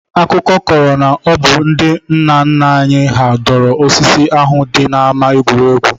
Akụkọ kọrọ na ọ bụ ndị nna nna anyị hà dọrọ osisi ahụ dị n'ama egwuregwu